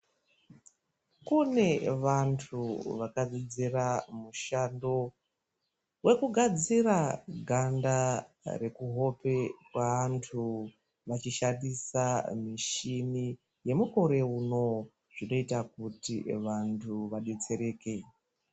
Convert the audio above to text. Kune vantu vaka dzidzira mushando weku gadzira ganda reku hope kwe antu vachi shandisa mishini ye mukore uno zvino ita kuti vantu va detsereke.